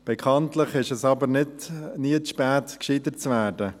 Bekanntlich ist es aber nie zu spät, gescheiter zu werden.